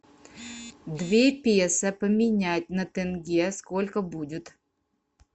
две песо поменять на тенге сколько будет